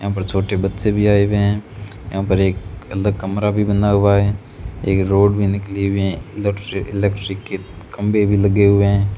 यहां पर छोटे बच्चे भी आए हुए हैं यहां पर एक अलग कमरा भी बना हुआ है एक रोड भी निकली हुई है इलेक्ट्री इलेक्ट्रिक के खंभे भी लगे हुए हैं।